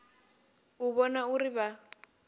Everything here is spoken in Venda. u u vhona uri vha